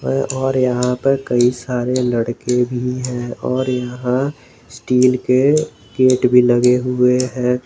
और यहां पर कई सारे लड़के भी हैं और यहां स्टील के गेट भी लगे हुए हैं।